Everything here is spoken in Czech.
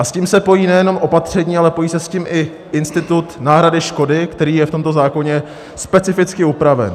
A s tím se pojí nejenom opatření, ale pojí se s tím i institut náhrady škody, který je v tomto zákoně specificky upraven.